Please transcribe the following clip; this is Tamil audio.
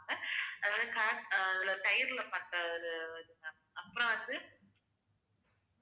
அதாவது curd அஹ் அதுல தயிர்ல பண்றது இது வந்து ma'am அப்புறம் வந்து